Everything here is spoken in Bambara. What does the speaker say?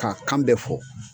K'a kan bɛ fɔ